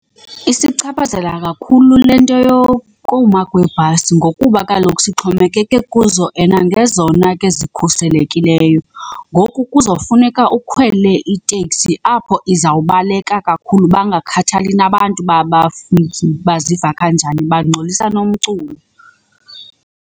Isichaphazela kakhulu le nto yokuma kweebhasi ngokuba kaloku sixhomekeke kuzo and ngezona ke zikhuselekileyo. Ngoku kuzawufuneka ukhwele iteksi apho izawubaleka kakhulu bangakhathali nabantu babafiki baziva kanjani bangxolisa nomculo.